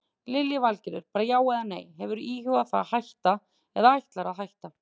Lillý Valgerður: Bara já eða nei, hefurðu íhugað það að hætta eða ætlarðu að hætta?